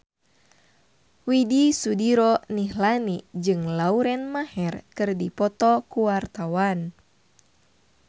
Widy Soediro Nichlany jeung Lauren Maher keur dipoto ku wartawan